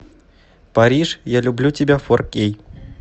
париж я люблю тебя фор кей